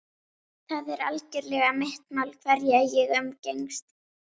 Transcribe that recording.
Það er algerlega mitt mál hverja ég umgengst.